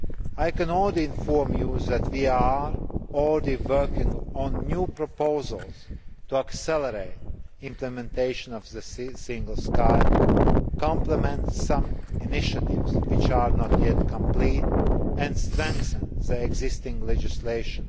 I can inform you that we are already working on new proposals to accelerate implementation of the Single Sky, complement some initiatives which are not yet complete and strengthen the existing legislation.